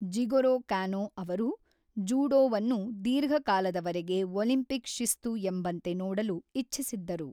Jigoro Kano ಅವರು ಜೂಡೋವನ್ನು ದೀರ್ಘಕಾಲದವರೆಗೆ ಒಲಿಂಪಿಕ್ ಶಿಸ್ತು ಎಂಬಂತೆ ನೋಡಲು ಇಚ್ಛಿಸಿದ್ದರು.